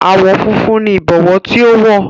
Àwọ̀ funfun ni Ìbọwọ́ tí ó wọ̀